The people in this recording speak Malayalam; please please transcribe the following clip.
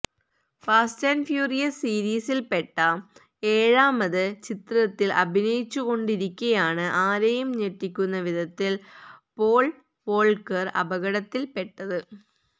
ഫാസ്റ്റ് ആന്റ് ഫ്യൂരിയസ് സീരീസില്പ്പെട്ട ഏഴാമത് ചിത്രത്തില് അഭിനയിച്ചുകൊണ്ടിരിക്കെയാണ് ആരെയും ഞെട്ടിപ്പിക്കുന്ന വിധത്തില് പോള് വോള്ക്കര് അപകടത്തില്പ്പെട്ടത്